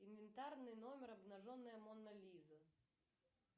инвентарный номер обнаженная мона лиза